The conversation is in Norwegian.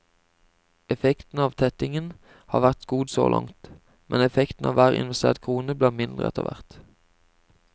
Effekten av tettingen har vært god så langt, men effekten av hver investert krone blir mindre etter hvert.